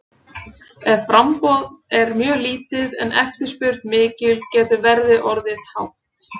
Ef framboð er mjög lítið en eftirspurn mikil getur verðið orðið hátt.